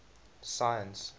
science